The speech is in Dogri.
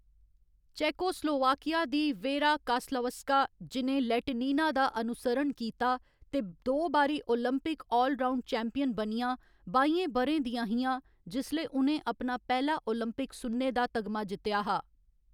चेकोस्लोवाकिया दी वेरा कास्लावस्का, जि'नें लैटिनिना दा अनुसरण कीता ते दो बारी ओलंपिक आल राउंड चैम्पियन बनियां, बाइयें ब'रें दियां हियां जिसलै उ'नें अपना पैह्‌‌ला ओलंपिक सुन्ने दा तगमा जित्तेआ हा।